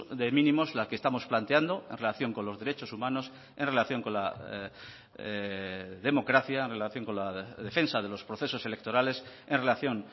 de mínimos la que estamos planteando en relación con los derechos humanos en relación con la democracia en relación con la defensa de los procesos electorales en relación